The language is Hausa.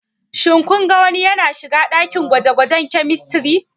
Shin kun ga wani yana shiga dakin gwaje-gwajen Chemistry?